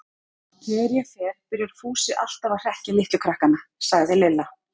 Þegar ég fer byrjar Fúsi alltaf að hrekkja litlu krakkana, sagði Lilla.